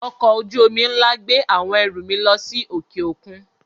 Ọkọ̀-ojú omi ńlá gbé àwọn ẹrù mi lọ sí òkè-òkun.